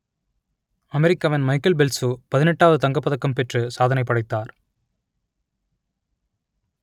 அமெரிக்காவின் Michael Phelps பதினெட்டாவது தங்கப்பதக்கம் பெற்று சாதனை படைத்தார்